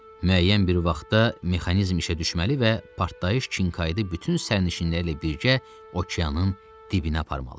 Müəyyən bir vaxtda mexanizm işə düşməli və partlayış Chinqaydı bütün sərnişinləri ilə birgə okeanın dibinə aparmalı idi.